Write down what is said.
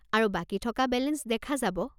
আৰু বাকী থকা বেলেঞ্চ দেখা যাব।